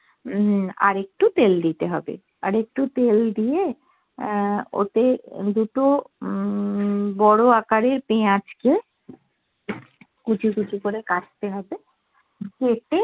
উম আর একটু তেল দিতে হবে আর একটু তেল দিয়ে আহ ওতে দুটো উম বড় আকারের পেঁয়াজ কে কুচি কুচি করে কাটতে হবে কেটে